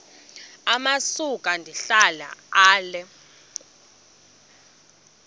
amasuka ndihlala ale